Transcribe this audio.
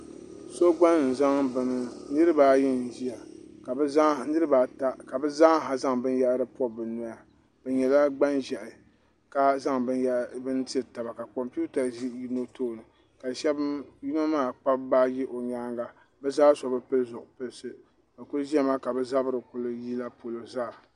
niraba ata n ʒiya ka bi zaaha zaŋ binyahari pobi bi noya bi nyɛla gban ʒiɛhi ka zaŋ binyɛra tiri taba ka kompiuta ʒi yino tooni ka yino maa kpabi baaji o nyaanga bi zaa so bi pili zipiliti bi ku ʒiya maa ka bi zabiri yila polo zaa